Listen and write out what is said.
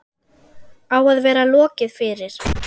Á að vera lokið fyrir